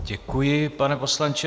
Děkuji, pane poslanče.